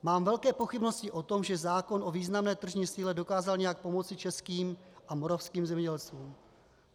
Mám velké pochybnosti o tom, že zákon o významné tržní síle dokázal nějak pomoci českým a moravským zemědělcům.